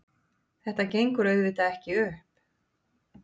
Þetta gengur auðvitað ekki upp.